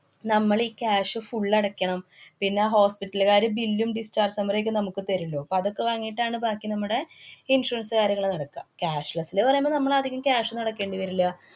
നമ്മളീ cash full അടക്കണം. പിന്നെ hospital കാര് bill ഉം, dischrage summary ക്കെ നമ്മക്ക് തരൂല്ലോ. അപ്പ അതൊക്കെ വാങ്ങീട്ടാണ് ബാക്കി നമ്മടെ insurance കാര്യങ്ങള് നടക്കുക. cashless ല് പറേമ്പോ നമ്മള് അധികം cash ന്നും അടയ്ക്കേണ്ടി വരില്ല.